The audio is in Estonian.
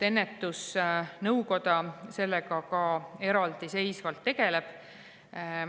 Ennetusnõukoda sellega ka eraldiseisvalt tegeleb.